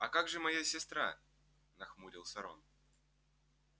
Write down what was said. а как же моя сестра нахмурился рон